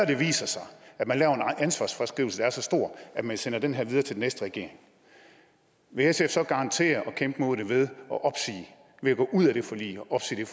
det viser sig at man laver en ansvarsfraskrivelse der er så stor at man sender det her videre til den næste regering vil sf så garantere at kæmpe imod det ved at gå ud af det forlig